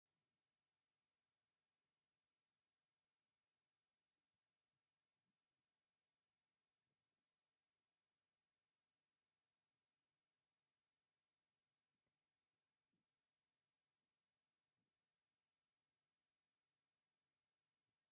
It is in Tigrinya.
ኣርባዕተ ደብሪ ዓብየ ህንፃን ብዙሓት መሳኩትን በርታትን ዘለዎ ኮይኑ ኣብቲ ፅርግያ ድማ ባጃጅ እውን ኣለዎ። ኣብቲ ህንፃ ፀግዒ ናይ ማይ ባስካል እውን ኣሎ። ኣበይ ከባቢ እዩ ዝርከብ?